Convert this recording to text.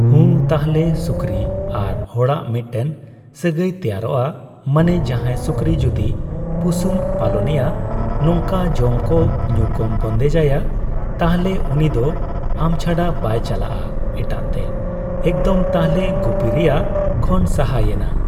ᱦᱩᱸ ᱛᱟᱦᱚᱞᱮ ᱥᱩᱠᱨᱤ ᱟᱨ ᱦᱚᱲᱟᱜ ᱢᱤᱫᱴᱮᱱ ᱥᱟᱹᱜᱟᱹᱭ ᱛᱮᱭᱟᱨᱚᱜᱼᱟ ᱾ ᱢᱟᱱᱮ ᱡᱟᱦᱟᱸᱭ ᱥᱩᱠᱨᱤ ᱡᱩᱫᱤ ᱯᱩᱥᱩᱢ ᱯᱟᱞᱚᱱᱮᱭᱟ ᱱᱚᱝᱠᱟ ᱡᱚᱢ ᱠᱚ ᱧᱩᱠᱚᱢ ᱵᱳᱱᱫᱮᱡ ᱟᱭᱟ ᱛᱟᱦᱚᱞᱮ ᱩᱱᱤᱫᱚ ᱟᱢ ᱪᱷᱟᱰᱟ ᱵᱟᱭ ᱪᱟᱞᱟᱜᱼᱟ ᱮᱴᱟᱜ ᱛᱮ ᱾ ᱮᱠᱫᱚᱢ ᱛᱟᱦᱚᱞᱮ ᱜᱩᱯᱤ ᱨᱮᱭᱟᱜ ᱠᱷᱚᱱ ᱥᱟᱦᱟ ᱭᱮᱱᱟ ᱾